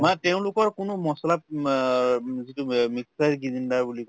মানে তেওঁলোকৰ কোনো মছলা উম আৰ উম অ যিটো mixer grinder বুলি কয়